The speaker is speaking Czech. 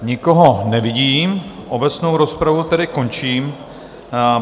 Nikoho nevidím obecnou rozpravu tedy končím.